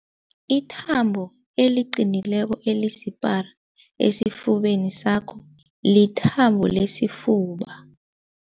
Ithambo eliqinileko elisipara esifubeni sakho lithambo lesifuba.